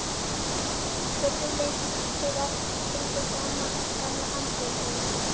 spurðum við til að fylgja sama gamla handritinu.